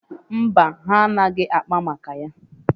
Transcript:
Mba, ha anaghị akpa maka ya?